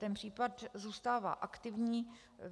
Ten případ zůstává aktivní.